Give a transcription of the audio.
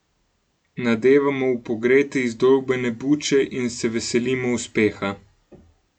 Nadevamo v pogrete izdolbene buče in se veselimo uspeha.